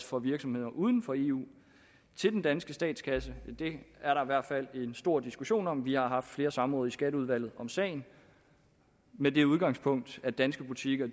for virksomheder uden for eu til den danske statskasse det er der i hvert fald stor diskussion om vi har haft flere samråd i skatteudvalget om sagen med det udgangspunkt at danske butikker